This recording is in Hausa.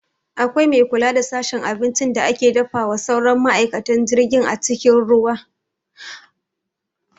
Akwai mai kula da sashen abincin da ake dafawa sauran ma'aikatan jirgin a cikin jirgin ruwa